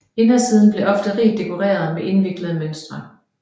Indersiden blev ofte rigt dekoreret med indviklede mønstre